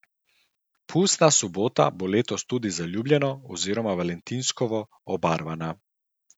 Pustna sobota bo letos tudi zaljubljeno oziroma valentinovsko obarvana.